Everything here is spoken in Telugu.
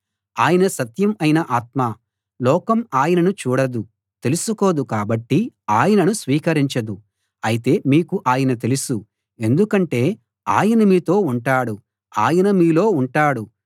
ఆయన సత్యం అయిన ఆత్మ లోకం ఆయనను చూడదు తెలుసుకోదు కాబట్టి ఆయనను స్వీకరించదు అయితే మీకు ఆయన తెలుసు ఎందుకంటే ఆయన మీతో ఉంటాడు ఆయన మీలో ఉంటాడు